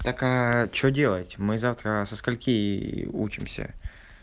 так а что делать мы завтра со скольки учимся